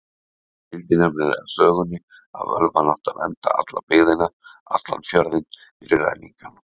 Það fylgdi nefnilega sögunni að völvan átti að vernda alla byggðina, allan fjörðinn, fyrir ræningjum.